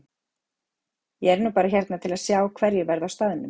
Ég er nú bara hérna til að sjá hverjir verða á staðnum.